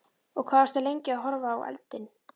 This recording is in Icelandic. Og hvað, varstu lengi að horfa á eldinn?